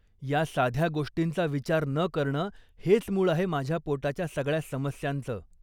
या साध्या गोष्टींचा विचार न करणं हेच मूळ आहे माझ्या पोटाच्या सगळ्या समस्यांचं.